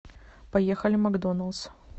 поехали макдоналдс